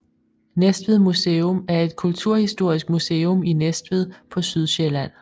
Næstved Museum er et kulturhistorisk museum i Næstved på Sydsjælland